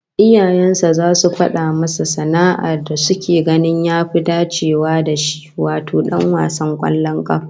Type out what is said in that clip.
Iyayen sa zasu fada masa sana'ar da suke ganin ya fi dacewa da shi, wato dan wasan kwallon kafa